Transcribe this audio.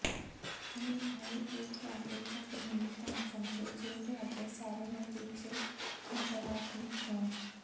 ਕਈ ਵਾਰੀ ਉਹ ਤੁਹਾਡੇ ਤੱਕ ਨਹੀਂ ਪਹੁੰਚਣਗੇ ਜੇ ਤੁਹਾਡੇ ਸਾਰੇ ਨਤੀਜੇ ਨਕਾਰਾਤਮਕ ਹੋਣ